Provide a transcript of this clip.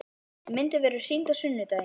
Myndin verður sýnd á sunnudaginn.